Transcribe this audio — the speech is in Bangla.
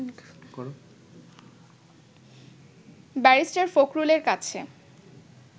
ব্যারিস্টার ফখরুলের কাছে